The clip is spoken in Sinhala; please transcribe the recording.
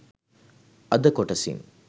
අද කොටසින්